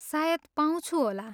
सायद पाउँछु होला।